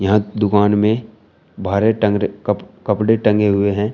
यहां दुकान में बाहरे टंगरे कप कपड़े टंगे हुए हैं।